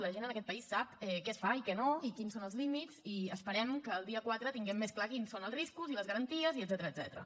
la gent en aquest país sap què es fa i què no i quins són els límits i esperem que el dia quatre tinguem més clar quin són els riscos i les garanties i etcètera